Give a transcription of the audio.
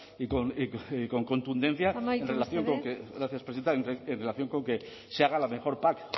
en relación con que se haga la mejor pac